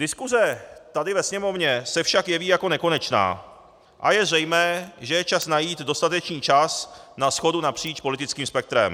Diskuse tady ve Sněmovně se však jeví jako nekonečná a je zřejmé, že je čas najít dostatečný čas na shodu napříč politickým spektrem.